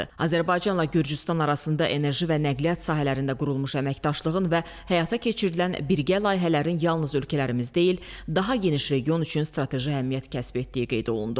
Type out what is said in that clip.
Azərbaycanla Gürcüstan arasında enerji və nəqliyyat sahələrində qurulmuş əməkdaşlığın və həyata keçirilən birgə layihələrin yalnız ölkələrimiz deyil, daha geniş region üçün strateji əhəmiyyət kəsb etdiyi qeyd olundu.